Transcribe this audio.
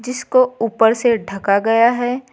जिसको ऊपर से ढका गया है।